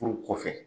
Furu kɔfɛ